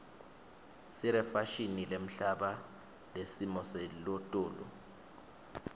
sirefashini lehamba nesimo selotulu